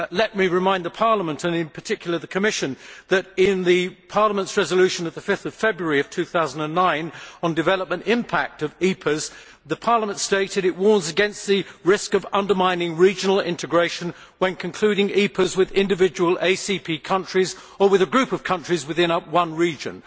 Let me remind Parliament, and in particular the Commission, that in Parliament's resolution of 5 February 2009 on the development impact of EPAs, the Parliament stated that it warns against the risk of undermining regional integration when concluding EPAs with individual ACP countries or with a group of countries within one region.